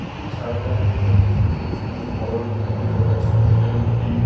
এটি ঝাড়গ্রামে অবস্থিত একটি -ই অরণ্যের ভিতরকার ছবি যেখানে দুটি--